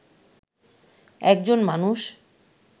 একজন মানুষ